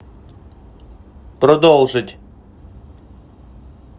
продолжить